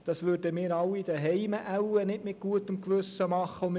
Das würden wir wohl alle zu Hause nicht mit gutem Gewissen tun.